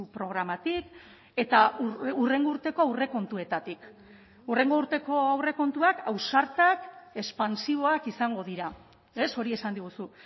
programatik eta hurrengo urteko aurrekontuetatik hurrengo urteko aurrekontuak ausartak espansiboak izango dira ez hori esan diguzu